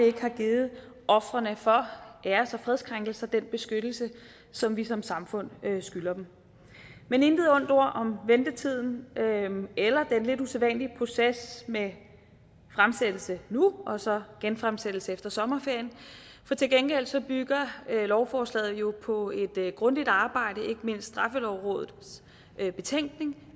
ikke har givet ofrene for æres og fredskrænkelser den beskyttelse som vi som samfund skylder dem men intet ondt ord om ventetiden eller den lidt usædvanlige proces med fremsættelse nu og så genfremsættelse efter sommerferien for til gengæld bygger lovforslaget jo på et grundigt arbejde ikke mindst straffelovrådets betænkning